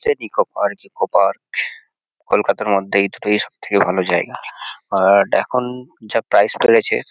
সে Nicco park eco park কলকাতার মধ্যে এই দুটোই সবথেকে ভালো জায়গা। আর এখন যা প্রাইস বেড়েছে--